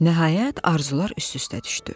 Nəhayət, arzular üst-üstə düşdü.